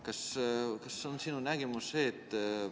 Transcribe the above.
Milline on sinu nägemus?